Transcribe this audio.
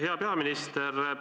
Hea peaminister!